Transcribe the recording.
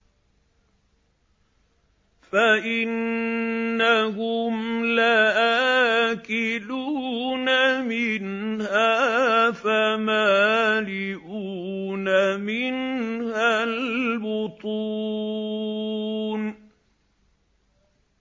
فَإِنَّهُمْ لَآكِلُونَ مِنْهَا فَمَالِئُونَ مِنْهَا الْبُطُونَ